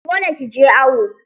Dole ki je awo!